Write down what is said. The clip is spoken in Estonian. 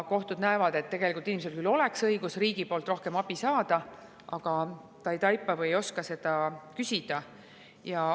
Kohtud näevad, et tegelikult inimesel oleks õigus riigi poolt rohkem abi saada, aga ta ei taipa või ei oska seda küsida.